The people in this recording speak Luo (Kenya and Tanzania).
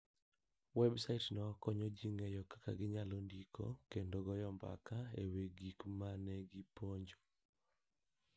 Websaitno konyo ji ng'eyo kaka ginyalo ndiko kendo goyo mbaka e wi gik ma ne giponjo.